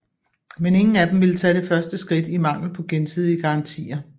Men ingen af dem ville tage det første skridt i mangel på gensidige garantier